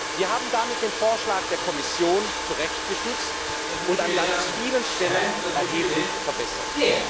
Wir haben damit den Vorschlag der Kommission zurechtgestutzt und an vielen Stellen erheblich verbessert.